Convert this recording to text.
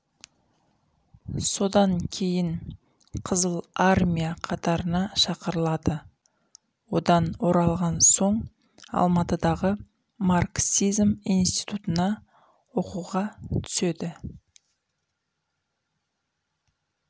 содан кейін қызыл армия қатарына шақырылады одан оралған соң алматыдағы марксизм институтына оқуға түседі